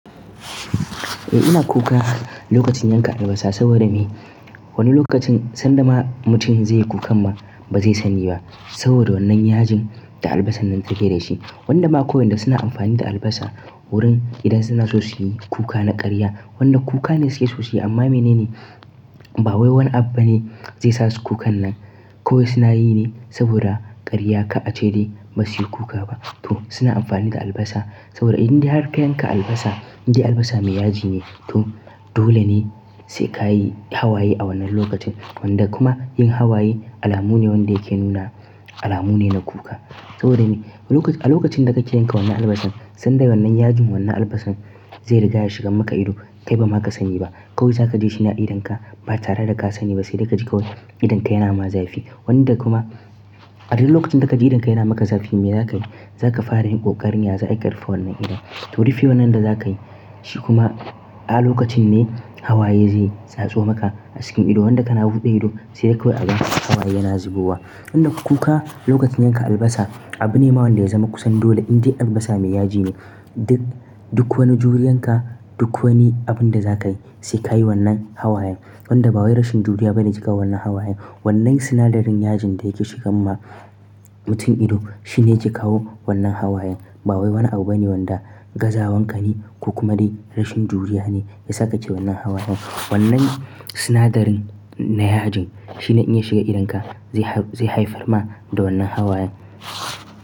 Eh ina kuka lokacin yanka albasa saboda me? Wani lokacin sanda ma mutum zai yi kukan ma ba zai sani ba saboda wannan yajin da albasan nan ta keda shi. Wanda suna amfani da albasa wurin idan suna so suyi kuka na karya. Wanda kuka ne suke so suyi amma menene? Ba wai wani abu ba ne zai sasu kukan nan. Kowai suna yi ne saboda karya ka a ce dai ba suyi kuka ba. To suna amfani da albasa saboda in dai har ka yanka albasa, indai albasa mai yaji ne. To dole ne sai ka yi hawaye a wannan lokacin. Wanda kuma yin hawaye alamu ne wanda yake nuna alamu ne na kuka. Saboda me? A lokacin da kake yanka wannan albasar, sanda wannan yajin wannan albasan zai riga ya shiga maka ido, kai bama ka sani ba. Kawai za ka ji shine a idonka ba tare da ka sani ba sai dai ka ji kawai idonka yana ma zafi. Wanda kuma a duk lokacin da ka ji idonka yana maka zafi me za ka yi? Za ka fara yin ƙoƙarin ya za'a yi ƙarufe wannan idon. To rufe wannan da za ka yi shi kuma a lokacin ne hawaye zai tsatso maka a cikin ido. Wanda kana buɗe ido sai dai kawai a gaba hawaye yana zubowa. Wanda kuka lokacin yanka albasa abu ne ma wanda yazama kusan dole indai albasa mai yaji ne. Duk, duk wani juriyan ka, duk wani abun da za ka yi sai ka yi wannan hawayen. Wanda ba wai rashin juriya ba ne ke kawo wannan hawayen. Wannnan sinadarin yajin da yake shigan ma mutum ido shine yake kawo wannan hawayen. Ba wai wani abu bane wanda gazawanka ne ko kuma dai rashin juriya ne ya sa ka ke wannan hawayen. Wannnan sinadarin na yajin shine inya shiga idonka zai, zai haifar ma da wannan hawayen.